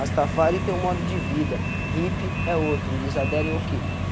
Rastafari tem um modo de vida, hippie é outro, eles aderem o quê?